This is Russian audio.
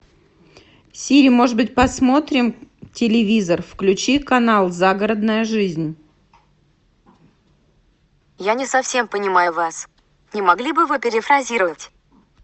сири может быть посмотрим телевизор включи канал загородная жизнь